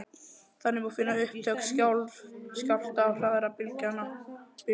Þannig má finna upptök skjálfta og hraða bylgnanna.